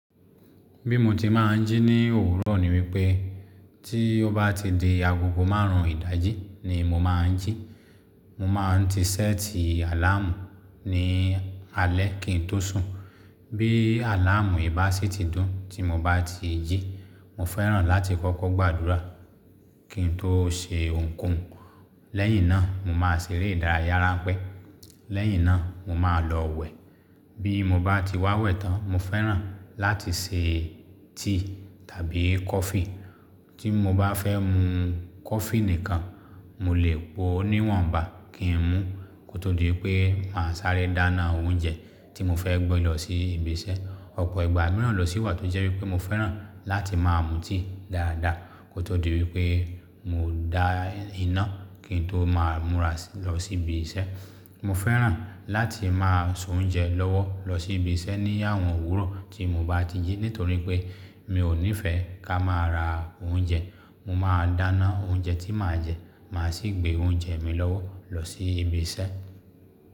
Bí mo ti máa ń jí ní òwúrọ̀ ni wípé tí ó bá ti di agogo márùn ún ìdájí ni mo máa ń jí. Mo máa ń ti séètì àláàmù ní alẹ́ kí n tó sùn. Bí àláàmù ibà ṣe ti dún tí mo bá ti jí, mo fẹ́ràn láti kọ́kọ́ gbàdúrà kí n tó se ohunkóhun. Lẹ́yìn náà mo máa ṣeré ìdárayá ránpẹ́. Lẹ́yìn náà mo máa lọ wẹ̀. Bí mo bá ti wá wẹ̀ tán mo fẹ́ràn láti se tíì tàbí kọfí. Tí mo bá fẹ́ mu kọfí nìkan, mo lè po níwọ̀nba kí n mú kó tó di wípé màá sáré dáná oúnjẹ tí mo fẹ́ gbé lọ sí ibi iṣẹ́. Ọ̀pọ̀ ìgbà mìíràn lọ síwà tó jẹ́ wípé mo fẹ́ràn láti máa mu tea dáadáa kó tó di wípé mo dá iná kí n tó máa múra lọ sí ibi iṣẹ́. Mo fẹ́ràn láti máa soúnjẹ lọ́wọ́ lọ sí ibi iṣẹ́ ní àwọn òwúrọ̀ tí mo bá ti jí nítorí pé mi ò nífẹẹ ká máa ra oúnjẹ. Mo máa dáná oúnjẹ tí màá jẹ, màá sì gbé oúnjẹ mi lọ́wọ́ lọ sí ibi iṣẹ́.